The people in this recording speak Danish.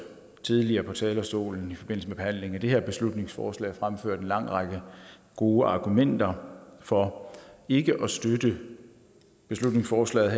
tidligere fra talerstolen i forbindelse med behandlingen af det her beslutningsforslag fremført en lang række gode argumenter for ikke at støtte beslutningsforslaget